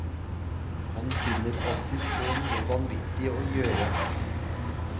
Han finner alltid på noe vanvittig å gjøre.